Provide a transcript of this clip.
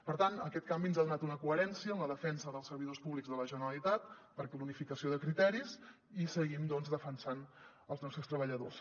per tant aquest canvi ens ha donat una coherència en la defensa dels servidors públics de la generalitat per la unificació de criteris i seguim doncs defensant els nostres treballadors